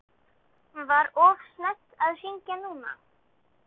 Var of snemmt að hringja núna?